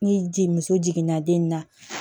Ni ji muso jiginna den na